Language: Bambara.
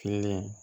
Kelen